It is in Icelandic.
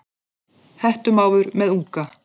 Hettumávur með unga.